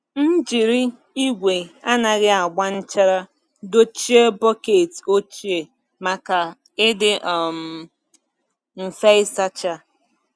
M jiri igwe anaghị agba nchara dochie bọket ochie maka ịdị um mfe ịsacha.